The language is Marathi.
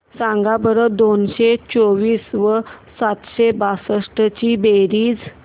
सांगा बरं दोनशे चोवीस व सातशे बासष्ट ची बेरीज